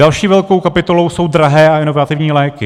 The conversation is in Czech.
Další velkou kapitolou jsou drahé a inovativní léky.